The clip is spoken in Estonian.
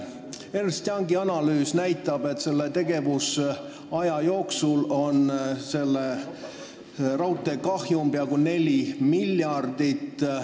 Ernst & Youngi analüüs näitab, et tegevusaja jooksul on selle kahjum peaaegu 4 miljardit.